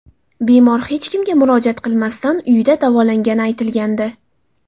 Bemor hech kimga murojaat qilmasdan uyida davolangani aytilgandi.